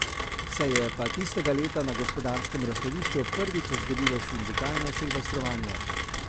Se je pa tistega leta na Gospodarskem razstavišču prvič zgodilo sindikalno silvestrovanje.